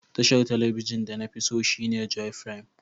Tashar telibijin de na fi tso shine Joy Prime.